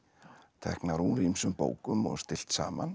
teknar úr ýmsum bókum og stillt saman